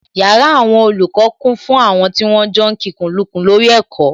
Yàrá àwọn olùkọ́ kún fún àwọn tí wọ́n ń jọ kikùnlukùn lórí ẹ̀kọ́